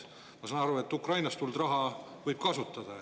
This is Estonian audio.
Ma saan aru, et Ukrainast tulnud raha võib kasutada.